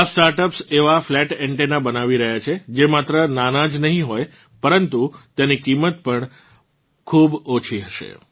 આ સ્ટાર્ટઅપ્સ એવાં ફ્લેટ એન્ટેનના બનાવી રહ્યાં છે જે માત્ર નાનાં જ નહીં હોય પરંતુ તેની કિમત પણ ખૂબ ઓછી હશે